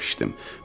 Çox içdim.